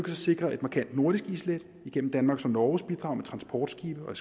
sikre et markant nordisk islæt igennem danmarks og norges bidrag med transportskibe og